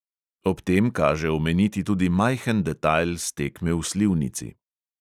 Ob tem kaže omeniti tudi majhen detajl s tekme v slivnici.